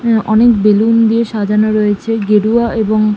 হুম অনেক বেলুন দিয়ে সাজানো রয়েছে গেরুয়া এবং--